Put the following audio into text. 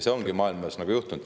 See ongi maailmas juhtunud …